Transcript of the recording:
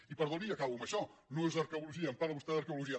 i perdoni i acabo amb això no és arqueologia em parla vostè d’arqueologia